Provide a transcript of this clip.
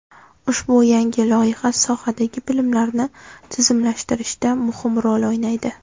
Ushbu yangi loyiha sohadagi bilimlarni tizimlashtirishda muhim rol o‘ynaydi.